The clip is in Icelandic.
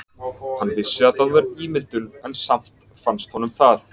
Hann vissi að það var ímyndun en samt fannst honum það.